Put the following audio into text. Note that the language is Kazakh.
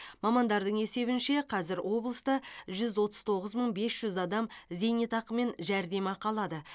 мамандардың есебінше қазір облыста жүз отыз тоғыз мың бес жүз адам зейнетақы мен жәрдемақы алады